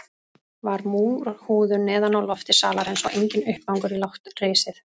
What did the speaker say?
Var múrhúðun neðan á lofti salarins og enginn uppgangur í lágt risið.